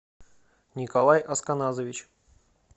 николай асканазович